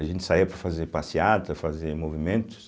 A gente saía para fazer passeata, fazer movimentos.